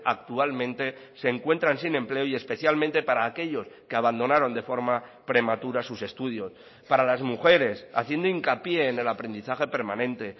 actualmente se encuentran sin empleo y especialmente para aquellos que abandonaron de forma prematura sus estudios para las mujeres haciendo hincapié en el aprendizaje permanente